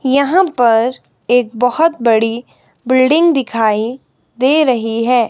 यहां पर एक बहोत बड़ी बिल्डिंग दिखाई दे रही है।